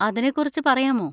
അതിനെക്കുറിച്ച് പറയാമോ?